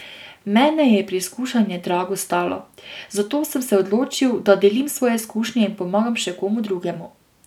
Mene je preizkušanje drago stalo, zato sem se odločil, da delim svoje izkušnje in pomagam še komu drugemu.